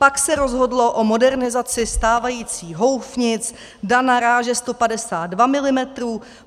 Pak se rozhodlo o modernizaci stávajících houfnic DANA ráže 152 mm.